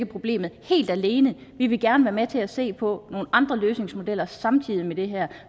problemet helt alene vi vil gerne være med til at se på nogle andre løsningsmodeller samtidig med det her